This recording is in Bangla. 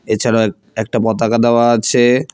এছাড়া একটা পতাকা দেওয়া আছে।